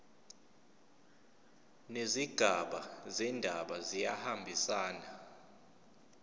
nezigaba zendaba kuyahambisana